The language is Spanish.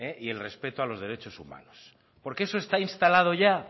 y el respeto a los derechos humanos porque eso está instalado ya